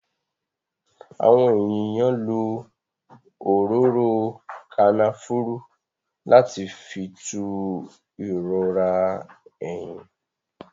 Àwọn èèyàn lo òróró Kànáfùrù láti fi tú ìrora eyín